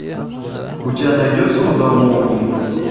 у тебя найдется удар молнии